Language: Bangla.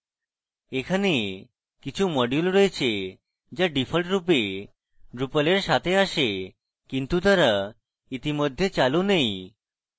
এখানে কিছু modules রয়েছে যা ডিফল্টরূপে drupal এর সাথে আসে কিন্তু তারা ইতিমধ্যে চালু নেই